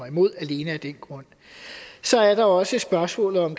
imod alene af den grund så er der også spørgsmålet om